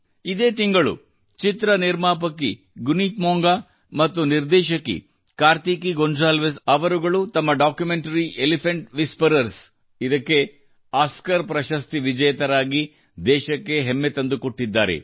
ಇದೇ ತಿಂಗಳು ಚಿತ್ರ ನಿರ್ಮಾಪಕಿ ಗುನೀತ್ ಮೊಂಗಾ ಮತ್ತು ನಿರ್ದೇಶಕಿ ಕಾರ್ತಿಕೀ ಗೋಂಜಾಲ್ವಿಸ್ ಅವರುಗಳು ತಮ್ಮ ಡಾಕ್ಯುಮೆಂಟರಿ ಎಲಿಫೆಂಟ್ ವಿಸ್ಪರರ್ಸ್ ಗಾಗಿ ಒಸ್ಕಾರ್ ಪ್ರಶಸ್ತಿ ವಿಜೇತರಾಗಿ ದೇಶಕ್ಕೆ ಹೆಮ್ಮೆ ತಂದುಕೊಟ್ಟಿದ್ದಾರೆ